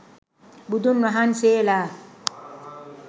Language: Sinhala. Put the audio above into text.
බුදුන් වහන්සේලා